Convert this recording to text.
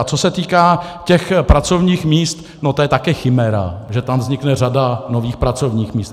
A co se týká těch pracovních míst, tak to je taky chiméra, že tam vznikne řada nových pracovních míst.